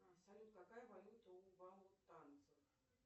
салют какая валюта у вау танцев